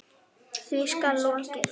Því skal lokið.